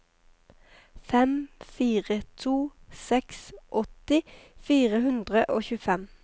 fem fire to seks åtti fire hundre og tjuefem